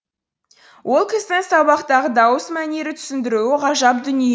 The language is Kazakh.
ол кісінің сабақтағы дауыс мәнері түсіндіруі ғажап дүние